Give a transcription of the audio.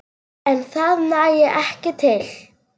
En það nægi ekki til.